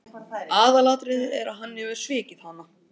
Aðalatriðið er að hann hefur svikið hana.